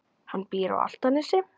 Hann býr á Álftanesi.